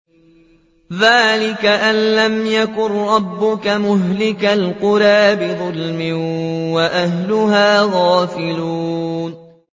ذَٰلِكَ أَن لَّمْ يَكُن رَّبُّكَ مُهْلِكَ الْقُرَىٰ بِظُلْمٍ وَأَهْلُهَا غَافِلُونَ